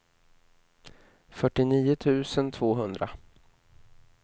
fyrtionio tusen tvåhundra